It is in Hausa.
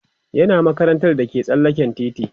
yana makarantar da ke tsallaken titi